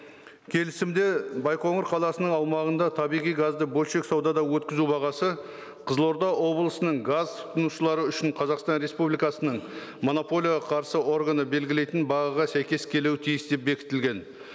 келісімде байқоңыр қаласының аумағында табиғи газды бөлшек саудада өткізу бағасы қызылорда облысының газ тұтынушылары үшін қазақстан республикасының монополияға қарсы органы белгілейтін бағаға сәйкес келуі тиіс деп бекітілген